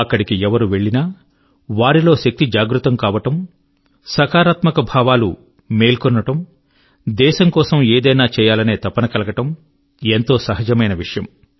అక్కడికి ఎవరు వెళ్ళినా వారి లో శక్తి జాగృతం కావడం సకారాత్మక భావాలు మేల్కొనడం దేశం కోసం ఏదైనా చేయాలనే తపన కలగడం ఎంతో సహజమైన విషయం